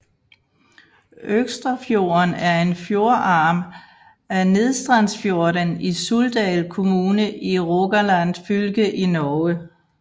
Økstrafjorden er en fjordarm af Nedstrandsfjorden i Suldal kommune i Rogaland fylke i Norge